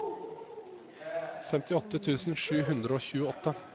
femtiåtte tusen sju hundre og tjueåtte